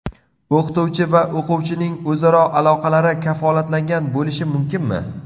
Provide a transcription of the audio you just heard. O‘qituvchi va o‘quvchining o‘zaro aloqalari kafolatlangan bo‘lishi mumkinmi?